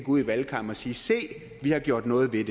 ud i valgkampen og sige se vi har gjort noget ved